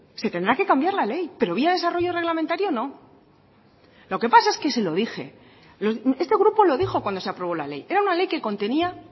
se tendrá que cambiar la ley pero vía desarrollo reglamentario no lo que pasa es que se lo dije este grupo lo dijo cuando se aprobó la ley era una ley que contenía